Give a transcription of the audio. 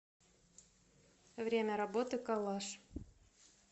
время работы коллаж